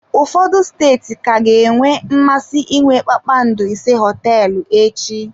Ụfọdụ steeti ka ga-enwe mmasị inwe kpakpando ise hoteelu echi.